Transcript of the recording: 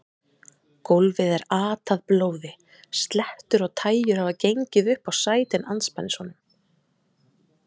Gólfið er atað blóði, slettur og tægjur hafa gengið upp á sætin andspænis honum.